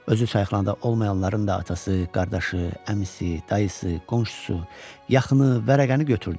Özü çayxanada olmayanların da atası, qardaşı, əmisi, dayısı, qonşusu, yaxını vərəqəni götürdü.